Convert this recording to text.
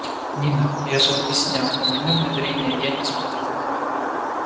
нина я же объяснял у меня внедрение я не смогу